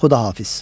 Xudahafiz!